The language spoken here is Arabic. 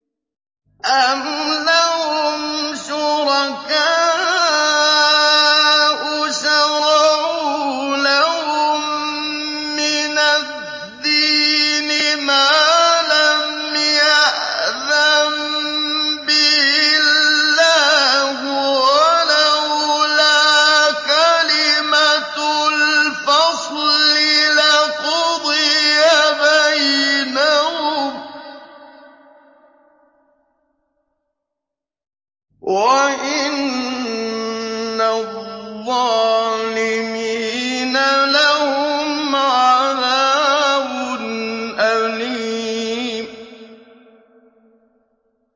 أَمْ لَهُمْ شُرَكَاءُ شَرَعُوا لَهُم مِّنَ الدِّينِ مَا لَمْ يَأْذَن بِهِ اللَّهُ ۚ وَلَوْلَا كَلِمَةُ الْفَصْلِ لَقُضِيَ بَيْنَهُمْ ۗ وَإِنَّ الظَّالِمِينَ لَهُمْ عَذَابٌ أَلِيمٌ